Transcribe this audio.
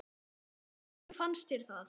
Hvernig fannst þér það?